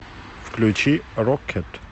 включи рокет